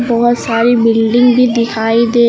बहोत सारी बिल्डिंग भी दिखाई दे--